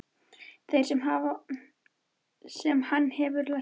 Þeirri sem hann hefði lært af.